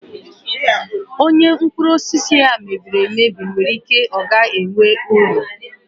Onye mkpụrụ osisi ya mebiri emebi nwere ike ọ gaghị enwe uru.